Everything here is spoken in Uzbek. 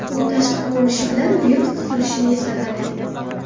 U tashqi ko‘rinishi bilan virus tuzilishini eslatadi.